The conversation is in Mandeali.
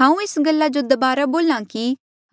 हांऊँ एस्सा गल्ला जो दबारा बोला कि